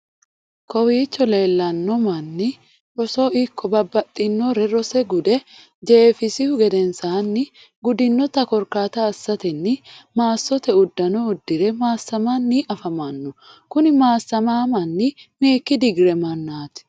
Kowicho leellanno manni roso ikko babbaxinore reose gude jeefisihu gedensanni, gudinnota korkata assatenni maassote uddano uddire massamanni afamano. kuni massama manni mekki digree mannat?